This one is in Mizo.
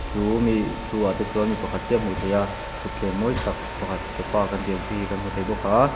chumi thu ah te chuan mi pakhat chiah a hmuh theih a thutthleng mawi tak pakhat sofa kan tih ang chi hi kan hmu thei bawk a--